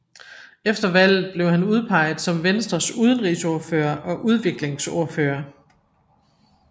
Efter valget blev han udpeget som Venstres Udenrigsordfører og udviklingsordfører